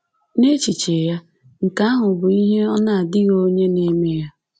N’echiche ya, nke ahụ bụ ihe “ọ na-adịghị onye na-eme ya.”